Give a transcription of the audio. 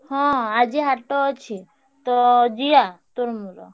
ହଁ ଆଜି ହାଟ ଅଛି। ତ ଯିବା ତୋର ମୋର।